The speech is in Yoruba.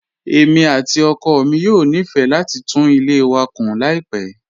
Èmi àti ọkọ mi yóò nífẹ̀ẹ́ láti tún ilé wa kun láìpẹ́.